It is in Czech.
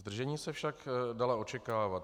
Zdržení se však dala očekávat.